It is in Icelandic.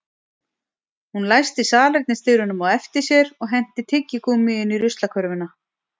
Hún læsti salernisdyrunum á eftir sér og henti tyggigúmmíinu í ruslakörfuna